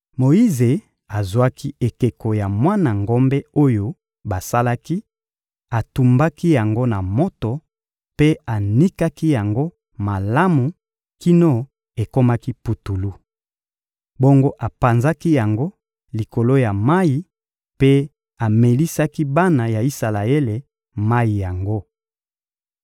Moyize azwaki ekeko ya mwana ngombe oyo basalaki, atumbaki yango na moto mpe anikaki yango malamu kino ekomaki putulu. Bongo apanzaki yango likolo ya mayi mpe amelisaki bana ya Isalaele mayi yango.